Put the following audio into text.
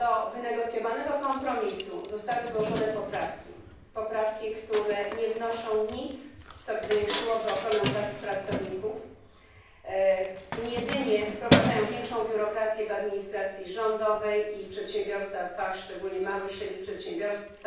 Do wynegocjowanego kompromisu zostały złożone poprawki, poprawki, które nie wnoszą nic, co zwiększyłoby ochronę pracowników, jedynie wprowadzają większą biurokrację w administracji rządowej i w przedsiębiorstwach, szczególnie w małych i średnich przedsiębiorstwach.